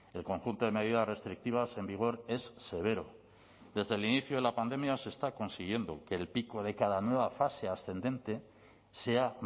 el conjunto de medidas restrictivas en vigor es severo desde el inicio de la pandemia se está consiguiendo que el pico de cada nueva fase ascendente sea